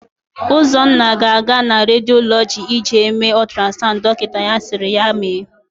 Ụzọnna ga-aga na rediolọgị ịje mee ọtrasaụnd dokịta sịrị ya mee.